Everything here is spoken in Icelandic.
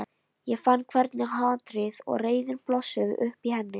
Ég fann hvernig hatrið og reiðin blossuðu upp í henni.